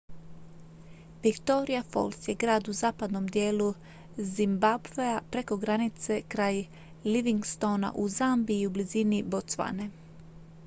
victoria falls je grad u zapadnom dijelu zimbabwea preko granice kraj livingstona u zambiji i u blizini botswane